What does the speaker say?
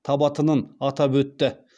табатынын атап өтті